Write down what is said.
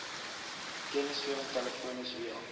kennisgewing telefonies via